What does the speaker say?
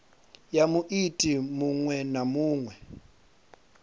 ya muiti muṅwe na muṅwe